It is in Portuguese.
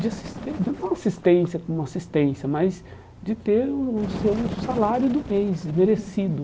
de assistên não de uma assistência com uma assistência, mas de ter o seu salário do mês merecido.